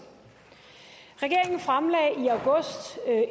regeringen fremlagde